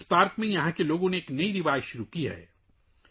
یہاں کے لوگوں نے اس پارک میں ایک نئی روایت شروع کی ہے